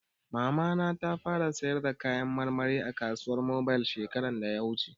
Mamana ta fara sayar da kayan marmari a kasuwar mobil shekarar da ya gabata